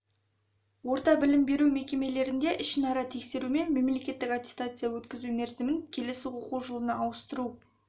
орта білім беру мекемелерінде ішінара тексеру мен мемлекеттік аттестация өткізу мерзімін келесі оқу жылына ауыстыру